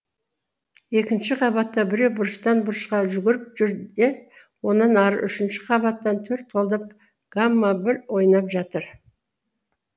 екінші қабатта біреу бұрыштан бұрышқа жүгіріп жүр де онан ары үшінші қабатта төрт қолдап гамма бір ойнап жатыр